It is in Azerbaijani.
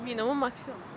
Minimum, maksimum?